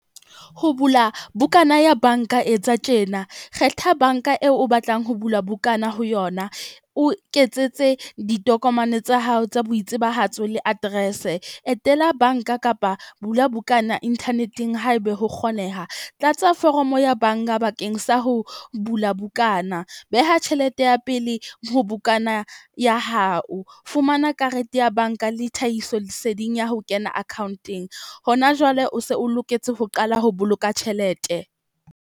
Ho bula bukana ya bank-a etsa tjena, kgetha bank-a eo o batlang ho bula bukana ho yona, o iketsetse ditokomane tsa hao tsa boitsebahatso le address-e. Etela bank-a kapa bula bukana inthaneteng. Haebe ho kgoneha, tlatsa foromo ya bank-a bakeng sa ho bula bukana. Beha tjhelete ya pele ho bukana ya hao. Fumana karete ya bank-a le tlhahisoleseding ya ho kena account-eng. Hona jwale o se o loketse ho qala ho boloka tjhelete.